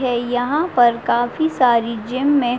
ये यहाँ पर काफी सारी जिम में --